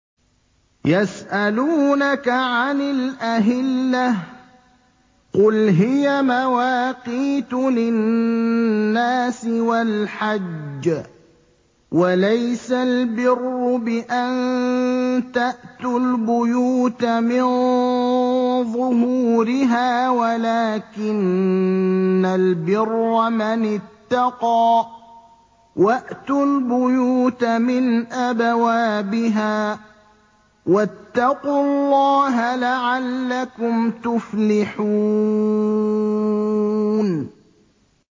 ۞ يَسْأَلُونَكَ عَنِ الْأَهِلَّةِ ۖ قُلْ هِيَ مَوَاقِيتُ لِلنَّاسِ وَالْحَجِّ ۗ وَلَيْسَ الْبِرُّ بِأَن تَأْتُوا الْبُيُوتَ مِن ظُهُورِهَا وَلَٰكِنَّ الْبِرَّ مَنِ اتَّقَىٰ ۗ وَأْتُوا الْبُيُوتَ مِنْ أَبْوَابِهَا ۚ وَاتَّقُوا اللَّهَ لَعَلَّكُمْ تُفْلِحُونَ